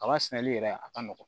Kaba sɛnɛli yɛrɛ a ka nɔgɔn